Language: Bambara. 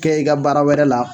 Kɛ i ka baara wɛrɛ la